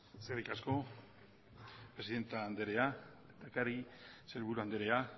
eskerrik asko presidenta andrea lehendakari sailburu andrea